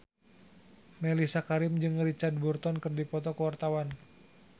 Mellisa Karim jeung Richard Burton keur dipoto ku wartawan